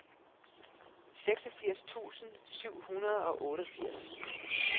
seksogfirs tusind syv hundrede og otteogfirs